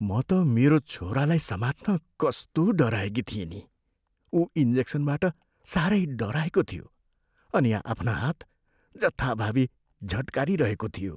म त मेरो छोरालाई समात्न कस्तो डराएकी थिएँ नि, ऊ इन्जेक्सनबाट सारै डराएको थियो अनि आफ्ना हात जथाभावी झट्कारिरहेको थियो।